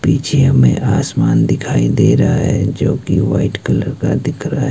पीछे हमें आसमान दिखाई दे रहा है जो कि व्हाइट कलर का दिख रहा है।